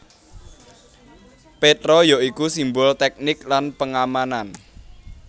Petra ya iku simbol teknik lan pengamanan